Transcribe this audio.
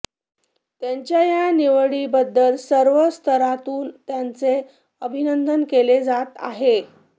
त्यांच्या या निवडीबद्दल सर्व स्तरातून त्यांचे अभिनंदन केले जात आहे